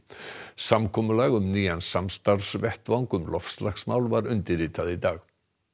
samkomulag um nýjan samstarfsvettvang um loftslagsmál var undirritað í dag